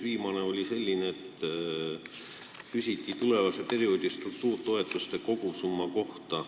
Viimane oli selline, et küsiti tulevase perioodi struktuuritoetuste kogusumma kohta.